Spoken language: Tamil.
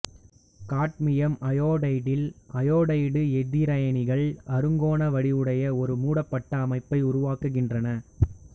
காட்மியம் அயோடைடில் அயோடைடு எதிரயனிகள் அறுங்கோண வடிவுடைய ஒரு மூடப்பட்ட அமைப்பை உருவாக்குகின்றன